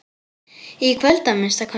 Í kvöld, að minnsta kosti.